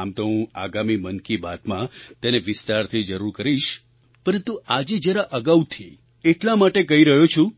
આમ તો હું આગામી મન કી બાતમાં તેને વિસ્તારથી જરૂર કરીશ પરંતુ આજે જરા અગાઉથી એટલા માટે કહી રહ્યો છું